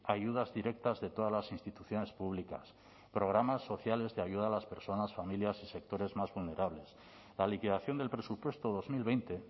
ayudas directas de todas las instituciones públicas programas sociales de ayuda a las personas familias y sectores más vulnerables la liquidación del presupuesto dos mil veinte